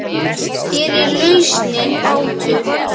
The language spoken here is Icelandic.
Hér er lausnin bátur.